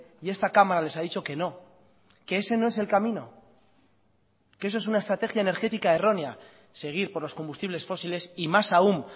y esta cámara les ha dicho que no que ese no es el camino que eso es una estrategia energética errónea seguir por los combustibles fósiles y más aún